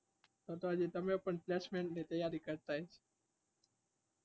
તો તો તમે પણ હાજી placement ની તૈયારી કરતા હસો.